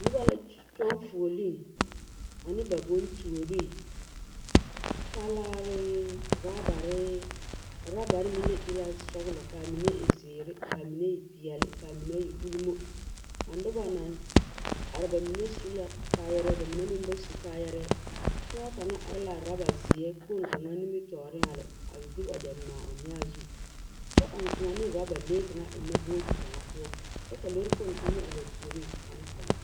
Noba la kyo kyoŋ fuoliŋ ane ba bontuoree; talaare, orͻbare, a orͻbare meŋ la e la sͻgelͻ ka a mine e zeere ka a mine peԑle ka a mine ulimo. A noba naŋ a ba mine su la kaayԑrԑԑ ba mine meŋ ba su kaayԑrԑԑ. Pͻge kaŋa are la a orͻba zeԑ kpoŋ kaŋ nimitͻͻre a lԑ, a de wagyԑ ŋmaa o nyaa zu kyԑ ͻŋ kõͻ ne orͻbalee kaŋa ennԑ booti kaŋa poͻ, kyԑ ka lͻͻre kpoŋ kaŋa meŋ are ba puoriŋ ane taŋke.